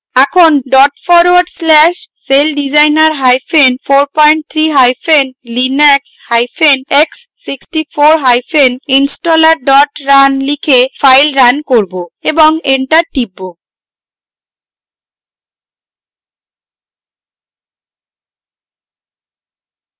এখন dot forward slash celldesigner hyphen 43 hyphen linux hyphen x64 hyphen installer run লিখে file run করব এবং enter টিপব